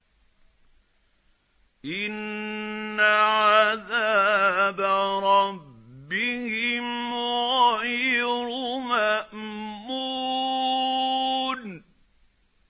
إِنَّ عَذَابَ رَبِّهِمْ غَيْرُ مَأْمُونٍ